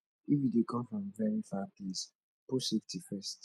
if you dey come from very far place put safety first